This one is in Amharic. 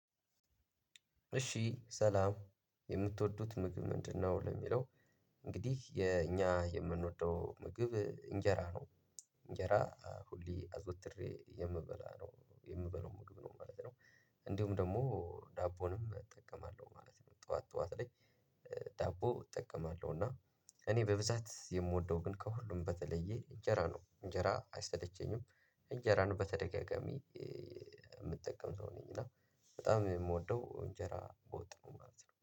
እሺ ሰላም የምትወዱት ምግብ ምንድነው? ለሚለው እንግዲህ የኛ የምንወደው ምግብ እንጀራ ነው እንጀራ ሁሌ አዘውትሬ የምበላ ነው የምበለው ምግብ ነው ማለት ነው። እንዲሁም ደግሞ ዳቦንም እጠቀማለሁ ማለት ነው። ጠዋት ጠዋት ላይ ዳቦ እጠቀማለሁ። እና እኔ በብዛት የምወደው ግን ከሁሉም በተለየ እንጀራ ነው። እንጀራ አይሰለቸኝም። እንጀራን በተደጋጋሚ የምጠቀም ሰው ነኝ። እና በጣም የምወደው እንጀራ በወጥ ነው ማለት ነው